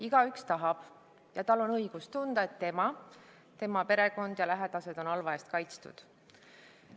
Igaühel on õigus tunda, et ta ise, tema perekond ja teised lähedased on halva eest kaitstud.